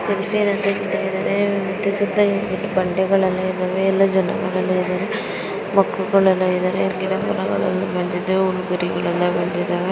ಸೆಲ್ಫಿಯನ್ನು ತೆಗಿತಾ ಇದ್ದಾರೆ ಸುತ್ತಲೂ ಬಂಡೆಗಳು ಇದಾವೆ ಎಲ್ಲ ಜನರು ಇದಾರೆ ಮಕ್ಕಳು ಇದ್ದಾರೆ ಗಿಡಗಳೆಲ್ಲ ಬೆಳೆದಿದವೆ.